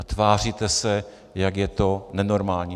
A tváříte se, jak je to nenormální.